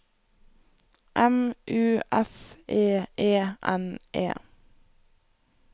M U S E E N E